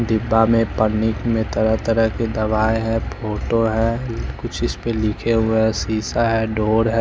डिब्बा में पन्नी में तरह तरह की दवाए है फोटो है कुछ इस पे लिखे हुए है शीशा है डोर है ।